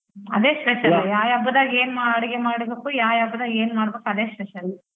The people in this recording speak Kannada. ಅದೇ special ಹಬ್ಬದಾಗ್ ಎನ್ ಅಡ್ಗೆ ಮಾಡ್ಬೇಕು ಯಾಯಾ ಹಬ್ಬದಾಗ್ ಏನ್ ಮಾಡ್ಬೇಕು ಅದೇ special .